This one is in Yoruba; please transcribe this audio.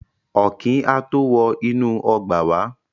Ọ̀kín á tó wọ inú ọgbà wá.